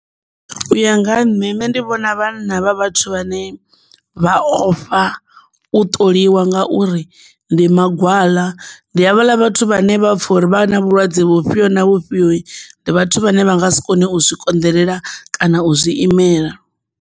U ya nga ha nṋe ndi vhona vhanna hu vhathu vhane vha ofha u ṱoliwa ngauri ndi mangwala ndi havhaḽa vhathu vhane vha pfha uri vha na vhulwadze vhufhio na vhufhio ndi vhathu vhane vha nga si kone u zwi konḓelela kana u zwi imela.